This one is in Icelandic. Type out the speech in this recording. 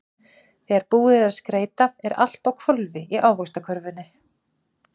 Þegar búið er að skreyta er allt á hvolfi í Ávaxtakörfunni.